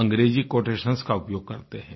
अंग्रेजी कोटेशंस का उपयोग करते हैं